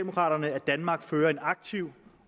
danmark fører en aktiv